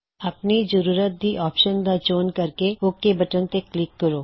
ਆਪਣੀ ਜ਼ਰੂਰਤ ਦੀ ਆਪਸ਼ਨਜ਼ ਦਾ ਚੋਣ ਕਰਕੇ ਓਕ ਬਟਨ ਤੇ ਕਲਿੱਕ ਕਰੋ